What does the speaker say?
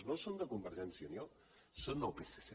no són de convergència i unió són del psc